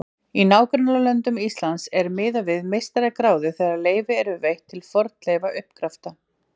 Í nágrannalöndum Íslands er miðað við meistaragráðu þegar leyfi eru veitt til fornleifauppgrafta.